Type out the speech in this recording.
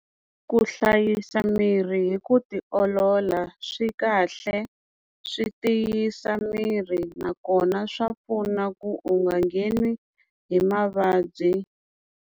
Ku hlayisa miri hi ku ti olola swi kahle swi tiyisa miri nakona swa pfuna ku u nga ngheni hi mavabyi.